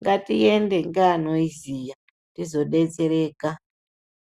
ngatiende ngeanoiziya tizodetsereka.